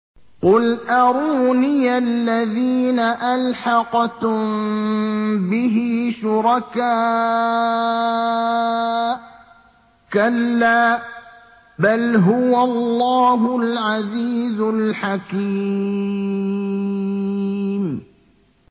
قُلْ أَرُونِيَ الَّذِينَ أَلْحَقْتُم بِهِ شُرَكَاءَ ۖ كَلَّا ۚ بَلْ هُوَ اللَّهُ الْعَزِيزُ الْحَكِيمُ